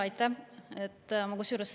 Aitäh!